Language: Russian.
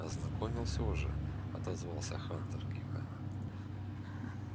ознакомился уже отозвался хантер кивая